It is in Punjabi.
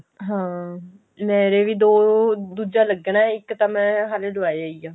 ਹਾਂ ਮੇਰੇ ਵੀ ਦੋ ਦੂਜਾ ਲਲੱਗਣਾ ਇੱਕ ਤਾਂ ਮੈਂ ਹਲੇ ਲਵਾਇਆ ਹੀ ਆ